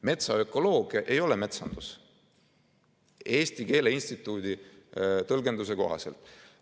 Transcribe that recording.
Metsaökoloogia ei ole metsandus Eesti Keele Instituudi tõlgenduse kohaselt.